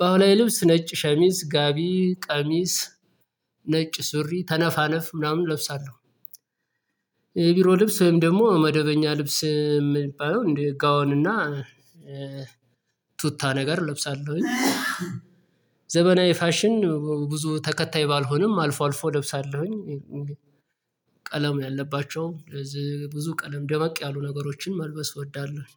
ባህላዊ ልብስ ነጭ ሸሚዝ ጋቢ ቀሚስ ነጭ ሱሪ ተነፋነፍ ምናምን እለብሳለሁ። የቢሮ ልብስ ወይም ደግሞ መደበኛ ልብስ የምባለው እንደ ጋዋን እና ቱታ ነገር እለብሳለሁኝ። ዘመናዊ ፋሽን ብዙ ተከታይ ባልሆንም አልፎ አልፎ እለብሳለሁኝ። ቀለም ያለባቸው ብዙ ቀለም ደበቅ ያሉ ነገሮችን መልበስ እወዳለሁ።